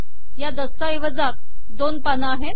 या दस्ताएवजात दोन पान आहेत